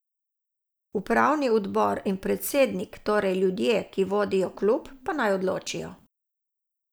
Upravni odbor in predsednik, torej ljudje, ki vodijo klub, pa naj odločijo.